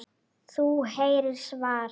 Þú heyrir svar.